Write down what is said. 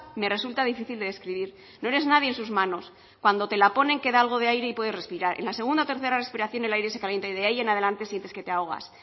me resulta difícil de describir no eres nadie en sus manos cuando te la ponen queda algo de aire y puedes respirar en la segunda o tercera respiración el aire se calienta y de ahí en adelante sientes que te ahogas